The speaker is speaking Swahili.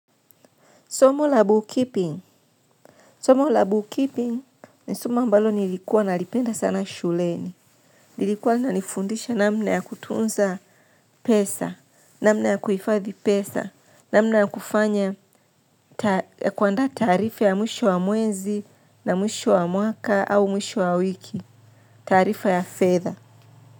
Somo la bookkeeping. Somo la bookkeeping ni somo ambalo nilikuwa nalipenda sana shuleni. Lilikuwa linanifundisha namna ya kutunza pesa, namna ya kuhifadhi pesa, namna ya kufanya kuandaa taarifa ya mwisho wa mwezi na mwisho wa mwaka au mwisho wa wiki, taarifa ya fedha.